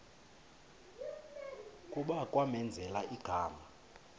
kuba kwamenzela igama